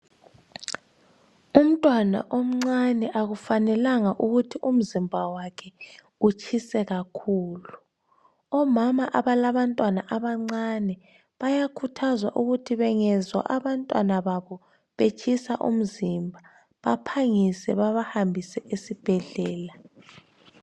Umntwana omncane akufanelanga ukuthi umzimba wakhe utshise kakhulu. Omama abalabantwana abancane bayakhuthazwa ukuthi bengezwa abantwana babo betshisa umzimba baphangise baba hambise esibhedlela.